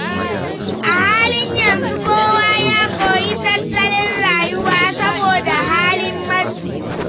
A halin yanzu kowa ya koyi tattalin rayuwa saboda halin matsi.